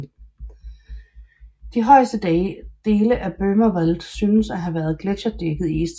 De højeste dele af Böhmerwald synes at have været gletscherdækket i istiden